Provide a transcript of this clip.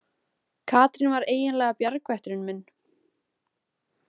Katrín var eiginlega bjargvætturinn minn.